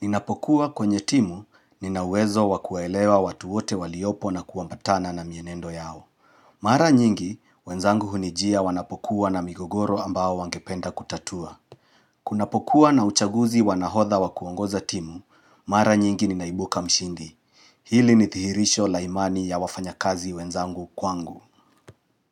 Ninapokuwa kwenye timu, nina uwezo wa kuelewa watu wote waliopo na kuambatana na mienendo yao. Mara nyingi, wenzangu hunijia wanapokuwa na migogoro ambayo wangependa kutatua. Kunapokuwa na uchaguzi wa nahodha wa kuongoza timu, mara nyingi ninaibuka mshindi. Hili nithihirisho la imani ya wafanyakazi wenzangu kwangu.